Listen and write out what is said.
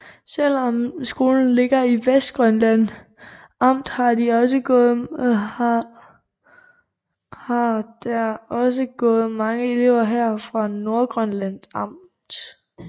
Selv om skolen ligger i Vestgrønland amt har der også gået mange elever her fra Nordgrønland amt